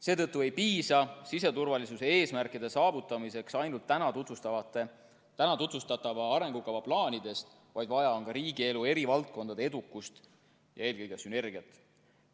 Seetõttu ei piisa siseturvalisuse eesmärkide saavutamiseks ainult täna tutvustatava arengukava plaanidest, vaid vaja on ka riigielu eri valdkondade edukust ja eelkõige sünergiat.